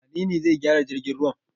Wane ne zai gyara jirgin ruwa?